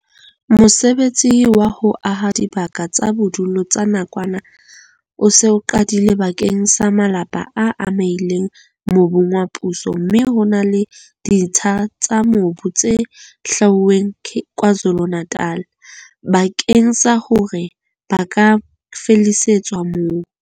Mosebetsi wa ho aha dibaka tsa bodulo tsa nakwana o se o qadile bakeng sa malapa a amehileng mobung wa puso mme ho na le ditsha tsa mobu tse hlwauweng KwaZulu-Natal bakeng sa hore ba ka fallisetswa moo.